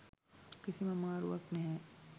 කිසිම අමාරුවක් නැහැ.